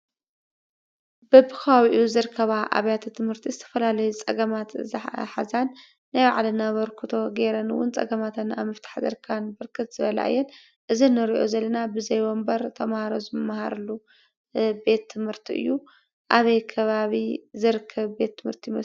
በቢኸባቢኡ ዝርከባ ኣብያተ ትምህርቲ ዝተፈላለዩ ፀገማት ዝሓዛን ናይ ባዕለን ኣበርክቶ ጌረን እውን ፀገማተን ኣብ ምፍታሕ ዝርከባን ብረክት ዝበላ እየን፡፡ እዚ እንሪኦ ዘለና ወንበር ተምሃሮ ዝምሃሩሉ ቤት ትምህርቲ እዩ፡፡ ኣበይ ከባቢ ዝርከብ ቤት ትምህርቲ ይመስለኩም?